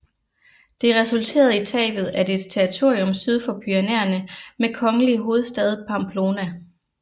Det resulterede i tabet af hele dets territorium syd for Pyrenæerne med den kongelige hovedstad Pamplona